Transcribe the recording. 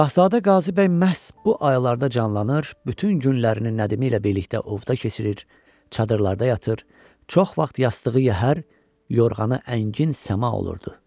Şahzadə Qazı Bəy məhz bu aylarda canlanır, bütün günlərini nədimi ilə birlikdə ovda keçirir, çadırlarda yatır, çox vaxt yastığı yəhər, yorğanı əngin səma olurdu.